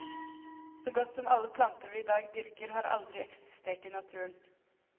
Så godt som alle planter vi i dag dyrker, har aldri eksistert i naturen.